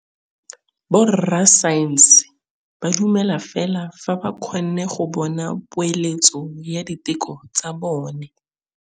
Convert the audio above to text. Borra saense ba dumela fela fa ba kgonne go bona poeletsô ya diteko tsa bone.